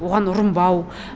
оған ұрынбау